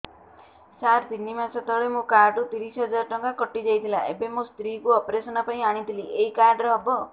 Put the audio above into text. ସାର ତିନି ମାସ ତଳେ ମୋ କାର୍ଡ ରୁ ତିରିଶ ହଜାର ଟଙ୍କା କଟିଯାଇଥିଲା ଏବେ ମୋ ସ୍ତ୍ରୀ କୁ ଅପେରସନ ପାଇଁ ଆଣିଥିଲି ଏଇ କାର୍ଡ ରେ ହବ